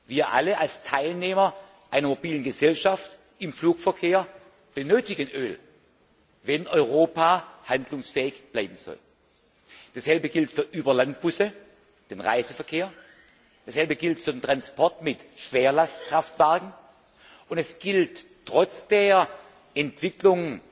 Wir alle als Teilnehmer einer mobilen Gesellschaft im Flugverkehr benötigen Öl, wenn Europa handlungsfähig bleiben soll. Dasselbe gilt für Überlandbusse, den Reiseverkehr dasselbe gilt für den Transport mit Schwerlastkraftwagen, und es gilt trotz der Entwicklung